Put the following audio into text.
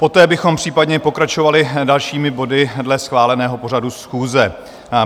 Poté bychom případně pokračovali dalšími body dle schváleného pořadu schůze.